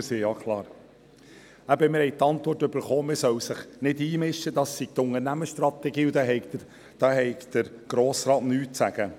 Eben: Wir erhielten die Antwort, man solle sich nicht einmischen, das sei die Unternehmensstrategie, und dazu habe der Grosse Rat nichts zu sagen.